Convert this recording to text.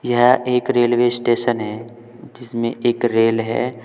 यह एक railway station है जिसमें एक रेल है।